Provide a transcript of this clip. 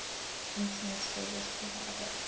internet service provider